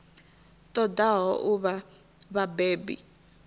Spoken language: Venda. ṱo ḓaho u vha vhabebi